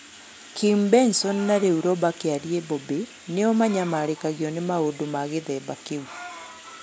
Kim Benson na rĩu Roba Kiarie (Bobby) nĩo manyamarĩkagio ni maũndo ma gĩthĩmba Kĩu.